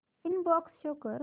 inbox show कर